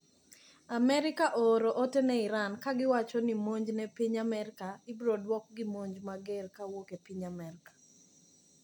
Amerika ooro ote ne Iran kagiwacho ni monj ne piny Amerika ibiroduok gi monj mager kowuok epiny amerika.